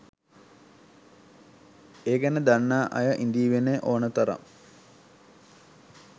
ඒ ගැන දන්නා අය ඉඳීවීනේ ඕන තරම්.